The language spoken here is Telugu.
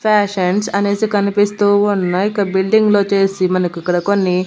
ఫ్యాషన్స్ అనేసి కనిపిస్తూ ఉన్నాయ్ ఇక బిల్డింగులు వచ్చేసి మనకు ఇక్కడ కొన్ని--